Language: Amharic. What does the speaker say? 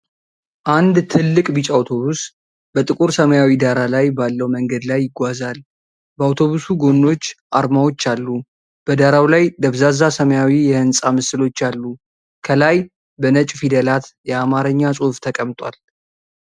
አንድ ትልቅ ቢጫ አውቶቡስ በጥቁር ሰማያዊ ዳራ ላይ ባለው መንገድ ላይ ይጓዛል። በአውቶቡሱ ጎኖች አርማዎች አሉ። በዳራው ላይ ደብዛዛ ሰማያዊ የሕንፃ ምስሎች አሉ፤ ከላይ በነጭ ፊደላት የአማርኛ ጽሑፍ ተቀምጧል።